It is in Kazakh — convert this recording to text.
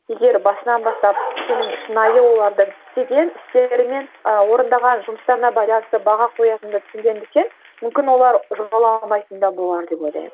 егер басынан бастап сенің шынайы оларды істеген істері мен ы орындаған жұмыстарына байланысты баға қоятыныңды түсінгендіктен мүмкін олар болар деп ойлаймын